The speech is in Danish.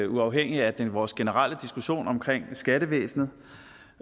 uafhængigt af vores generelle diskussion omkring skattevæsenet